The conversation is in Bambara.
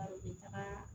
u bɛ taga